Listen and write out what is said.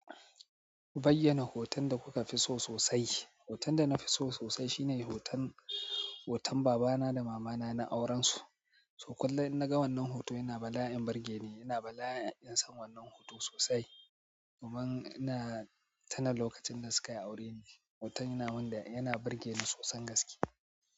Bayyana hoton da kuka fi so sosai. Hoton da na fi so sosai shine hoton, hoton babana da mamana na aurensu. To kullum in naga wannan hoto yana bala'in burgeni ina bala'in son wannan hoto sosai domin ina tuna lokacin da suka yi aure ne. Hoton yana wanda yana burge ni sosan gaske.